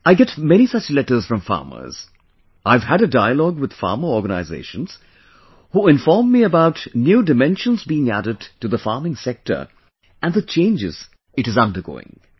I get many such letters from farmers, I've had a dialogue with farmer organizations, who inform me about new dimensions being added to the farming sector and the changes it is undergoing